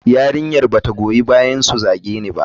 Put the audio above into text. Yarinyar ba ta goyi bayansu su zage ni ba.